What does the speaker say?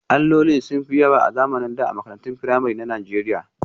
Allolin sun fi yawa a zamanin da a makarantun firamare na Najeriya